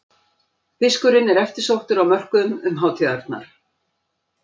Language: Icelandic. Fiskurinn eftirsóttur á mörkuðum um hátíðarnar